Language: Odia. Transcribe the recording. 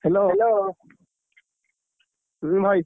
Hello ଭାଇ,